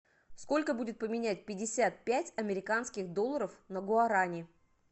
сколько будет поменять пятьдесят пять американских долларов на гуарани